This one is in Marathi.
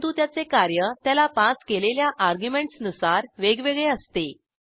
परंतु त्याचे कार्य त्याला पास केलेल्या अर्ग्युमेंटसनुसार वेगवेगळे असते